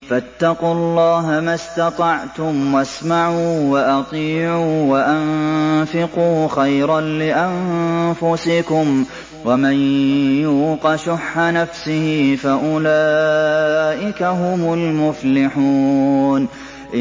فَاتَّقُوا اللَّهَ مَا اسْتَطَعْتُمْ وَاسْمَعُوا وَأَطِيعُوا وَأَنفِقُوا خَيْرًا لِّأَنفُسِكُمْ ۗ وَمَن يُوقَ شُحَّ نَفْسِهِ فَأُولَٰئِكَ هُمُ الْمُفْلِحُونَ